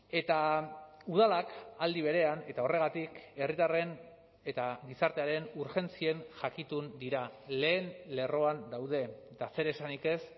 eta udalak aldi berean eta horregatik herritarren eta gizartearen urgentzien jakitun dira lehen lerroan daude eta zer esanik ez